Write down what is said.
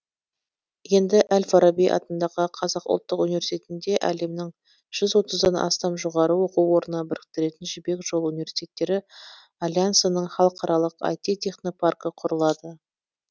енді әл фараби атындағы қазақ ұлттық университетінде әлемнің жүз отыздан астам жоғары оқу орнын біріктіретін жібек жолы университеттері альянсының халықаралық айти технопаркі құрылады